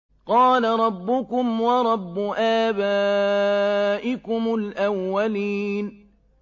قَالَ رَبُّكُمْ وَرَبُّ آبَائِكُمُ الْأَوَّلِينَ